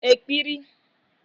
ekpiri